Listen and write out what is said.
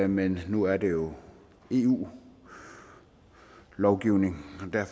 men nu er det jo eu lovgivning